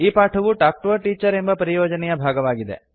ಈ ಪಾಠವು talk to a teacher ಎಂಬ ಪರಿಯೋಜನೆಯ ಭಾಗವಾಗಿದೆ